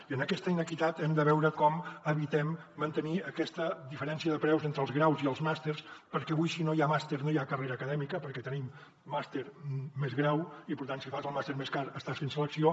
i en aquesta inequitat hem de veure com evitem mantenir aquesta diferència de preus entre els graus i els màsters perquè avui si no hi ha màster no hi ha carrera acadèmica perquè tenim màster més grau i per tant si fas el màster més car estàs fent selecció